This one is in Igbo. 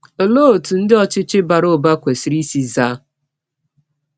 Olee otú ndị ọchịchị bara ụba kwesịrị isi zaa?